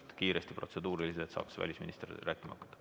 Palun kiiresti protseduurilised küsimused, et välisminister saaks rääkima hakata.